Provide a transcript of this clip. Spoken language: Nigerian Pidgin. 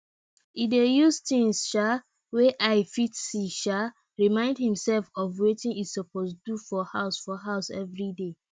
e dey use things um wey eye fit see um remind himself of watin e suppose do for house for house everyday